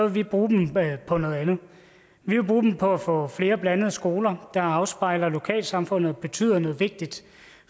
vi bruge dem på noget andet vi ville bruge dem på at få flere blandede skoler der afspejler lokalsamfundet og betyder noget vigtigt